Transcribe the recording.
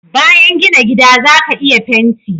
bayan gina gida zaka iya fenti